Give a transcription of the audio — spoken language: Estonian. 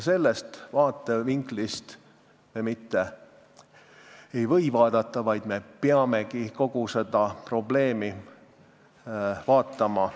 Sellest vaatevinklist me mitte lihtsalt ei või seda probleemi vaadata, vaid me peame kogu seda probleemi nii vaatama.